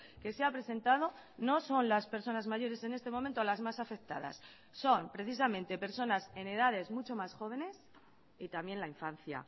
que se ha presentado no son las personas mayores en este momento las más afectadas son precisamente personas en edades mucho más jóvenes y también la infancia